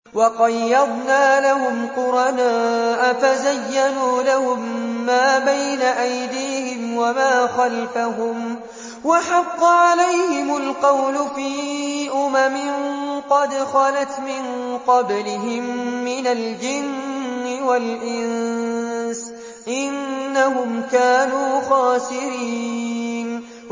۞ وَقَيَّضْنَا لَهُمْ قُرَنَاءَ فَزَيَّنُوا لَهُم مَّا بَيْنَ أَيْدِيهِمْ وَمَا خَلْفَهُمْ وَحَقَّ عَلَيْهِمُ الْقَوْلُ فِي أُمَمٍ قَدْ خَلَتْ مِن قَبْلِهِم مِّنَ الْجِنِّ وَالْإِنسِ ۖ إِنَّهُمْ كَانُوا خَاسِرِينَ